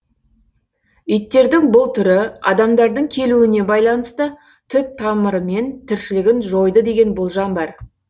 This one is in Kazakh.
иттердің бұл түрі адамдардың келуіне байланысты түп тамырымен тіршілігін жойды деген болжам бар